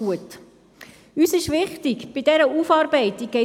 Gibt es Fraktionssprecherinnen oder Fraktionssprecher?